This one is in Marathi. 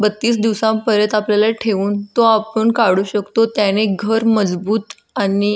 बत्तीस दिवसान परत आपल्याला ठेऊन तो आपण काढू शकतो त्याने घर मजबूत आणि --